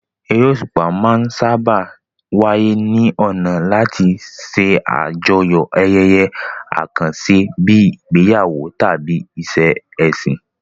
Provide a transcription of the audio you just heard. Eré òṣùpá máa ń sáábà wáyé ní ọ̀nà láti ṣe àjọyọ̀ ayẹyẹ àkànṣe bíi ìgbéyàwó tàbí ìṣe ẹ̀sìn.